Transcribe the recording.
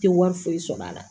Tɛ wari foyi sɔrɔ a la